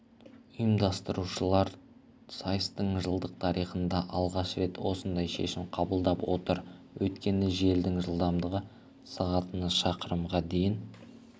ұйымдастырушылар сайыстың жылдық тарихында алғаш рет осындай шешім қабылдап отыр өйткені желдің жылдамдығы сағатына шақырымға дейін